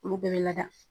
Olu bɛɛ bɛ lada